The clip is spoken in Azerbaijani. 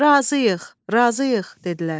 Razıyıq, razıyıq, dedilər.